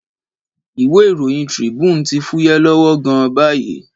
Ìwé ìròyìn Tribune ti fúyẹ́ lọ́wọ́ gan-an báyìí.